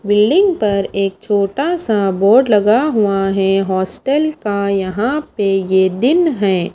Building पर एक छोटा सा बोर्ड‌ लगा हुआ है हॉस्टल का यहां पे ये दिन है।